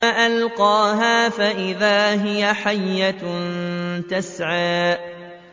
فَأَلْقَاهَا فَإِذَا هِيَ حَيَّةٌ تَسْعَىٰ